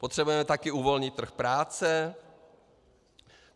Potřebujeme taky uvolnit trh práce.